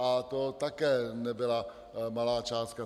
A to také nebyla malá částka.